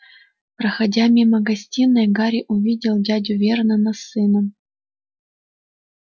проходя мимо гостиной гарри увидел дядю вернона с сыном